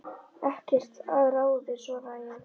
Ekkert að ráði svaraði ég.